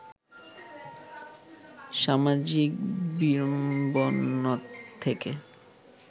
সামাজিক বিড়ম্বনা থেকে